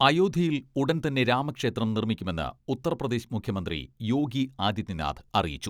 അയോധ്യയിൽ ഉടൻതന്നെ രാമക്ഷേത്രം നിർമ്മിക്കുമെന്ന് ഉത്തർപ്രദേശ് മുഖ്യമന്ത്രി യോഗി ആദിത്യനാഥ് അറിയിച്ചു.